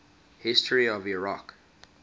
history of iraq